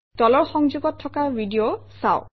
তলৰ সংযোগত থকা ভিডিঅ চাওক